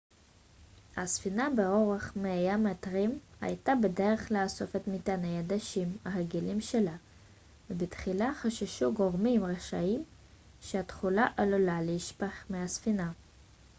הספינה באורך 100 המטרים הייתה בדרך לאסוף את מטעני הדשנים הרגילים שלה ובתחילה חששו גורמים רשמיים שהתכולה עלולה להישפך מהספינה